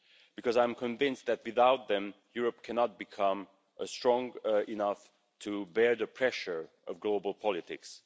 Because I am convinced that without them Europe cannot become strong enough to bear the pressure of global politics.